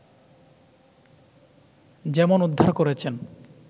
যেমন উদ্ধার করেছেন